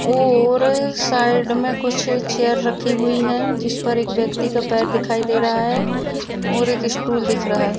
और साइड मे कुछ चेयर रखी हुई है जिसमे एक व्यक्ति का पैर दिखाई दे रहा है और एक स्टूल दिख रहा है।